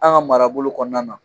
An ga marabolo kɔnɔna na.